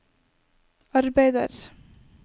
arbeider